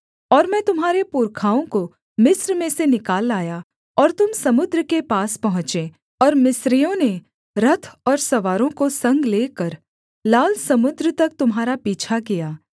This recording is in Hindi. और मैं तुम्हारे पुरखाओं को मिस्र में से निकाल लाया और तुम समुद्र के पास पहुँचे और मिस्रियों ने रथ और सवारों को संग लेकर लाल समुद्र तक तुम्हारा पीछा किया